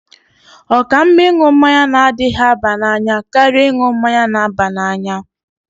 Ọ ka mma ịṅụ mmanya na-adịghi aba n'anya karịa ịṅụ mmanya na-aba n'anya.